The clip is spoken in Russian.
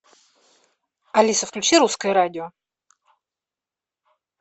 алиса включи русское радио